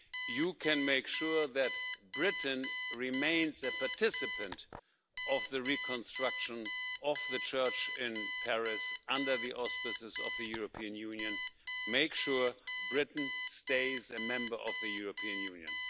You can make sure that Britain remains a participant in the reconstruction of the church in Paris under the auspices of the European Union. Make sure Britain stays a member of the European Union.